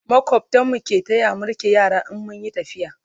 makwabtan mu ke taya mu rike yara in mun Yi tafiya